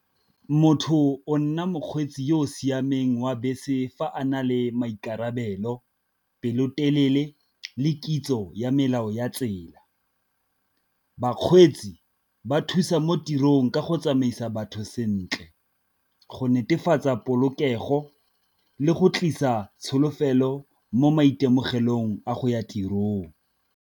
Motho o nna mokgweetsi yo o siameng wa bese fa a na le maikarabelo pelotelele le kitso ya melao ya tsela, bakgweetsi ba thusa mo tirong ka go tsamaisa batho sentle, go netefatsa polokego, le go tlisa tsholofelo mo maitemogelong a go ya tirong.